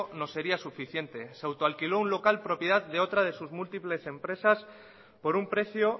no sería suficiente se autoalquiló un local propiedad de otra de sus múltiples empresas por un precio